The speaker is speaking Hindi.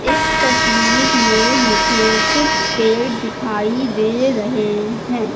इस तस्वीर मे मुझे कुछ पेड़ दिखाई दे रहे है।